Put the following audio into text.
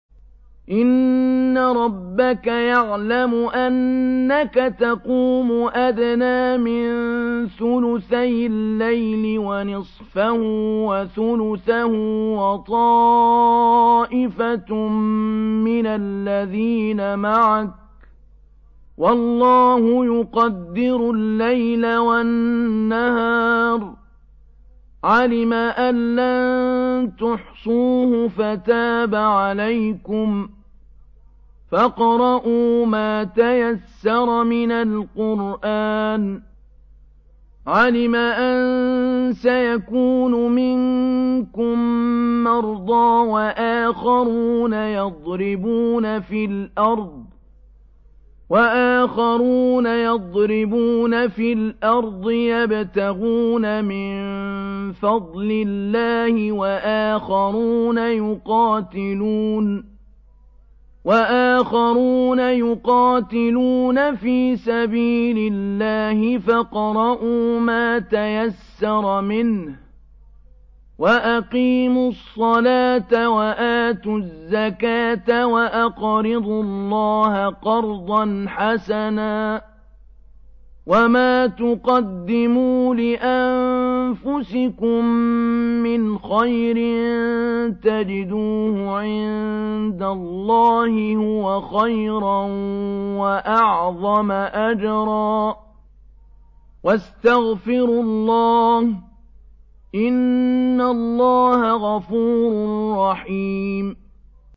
۞ إِنَّ رَبَّكَ يَعْلَمُ أَنَّكَ تَقُومُ أَدْنَىٰ مِن ثُلُثَيِ اللَّيْلِ وَنِصْفَهُ وَثُلُثَهُ وَطَائِفَةٌ مِّنَ الَّذِينَ مَعَكَ ۚ وَاللَّهُ يُقَدِّرُ اللَّيْلَ وَالنَّهَارَ ۚ عَلِمَ أَن لَّن تُحْصُوهُ فَتَابَ عَلَيْكُمْ ۖ فَاقْرَءُوا مَا تَيَسَّرَ مِنَ الْقُرْآنِ ۚ عَلِمَ أَن سَيَكُونُ مِنكُم مَّرْضَىٰ ۙ وَآخَرُونَ يَضْرِبُونَ فِي الْأَرْضِ يَبْتَغُونَ مِن فَضْلِ اللَّهِ ۙ وَآخَرُونَ يُقَاتِلُونَ فِي سَبِيلِ اللَّهِ ۖ فَاقْرَءُوا مَا تَيَسَّرَ مِنْهُ ۚ وَأَقِيمُوا الصَّلَاةَ وَآتُوا الزَّكَاةَ وَأَقْرِضُوا اللَّهَ قَرْضًا حَسَنًا ۚ وَمَا تُقَدِّمُوا لِأَنفُسِكُم مِّنْ خَيْرٍ تَجِدُوهُ عِندَ اللَّهِ هُوَ خَيْرًا وَأَعْظَمَ أَجْرًا ۚ وَاسْتَغْفِرُوا اللَّهَ ۖ إِنَّ اللَّهَ غَفُورٌ رَّحِيمٌ